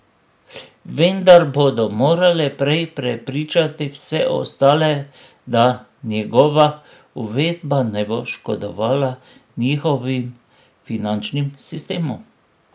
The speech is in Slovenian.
Vendar bodo morale prej prepričati vse ostale, da njegova uvedba ne bo škodovala njihovim finančnim sistemom.